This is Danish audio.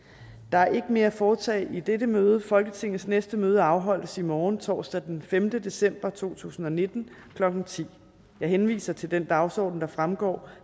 er ikke mere at foretage i dette møde folketingets næste møde afholdes i morgen torsdag den femte december to tusind og nitten klokken ti jeg henviser til den dagsorden der fremgår